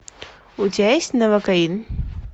у тебя есть новокаин